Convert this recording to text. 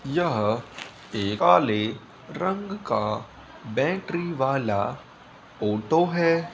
यह एक काले रंग का बैटरी वाला ऑटो है।